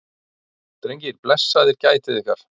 Drengir, blessaðir gætið ykkar.